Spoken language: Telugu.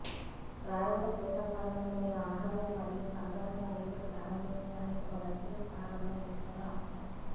ప్రారంభ శీతాకాలంలో మీరు ఆహారం మరియు సాధారణ గా నీళ్ళు ప్రారంభించడానికి ఒక వెచ్చని స్థానంలో ఉంచారు అవసరం